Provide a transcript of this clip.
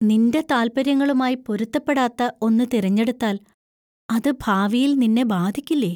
നിന്‍റെ താൽപ്പര്യങ്ങളുമായി പൊരുത്തപ്പെടാത്ത ഒന്ന് തിരഞ്ഞെടുത്താൽ അത് ഭാവിയിൽ നിന്നെ ബാധിക്കില്ലേ?